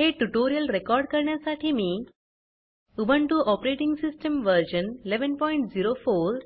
हे tutorial record करण्यासाठी मी उबुंटु ऑपरेटिंग सिस्टम वर्जन 1104